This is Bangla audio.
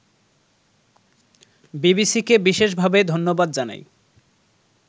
বিবিসিকে বিশেষভাবে ধন্যবাদ জানাই